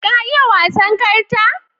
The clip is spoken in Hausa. Ka iya wasan karta?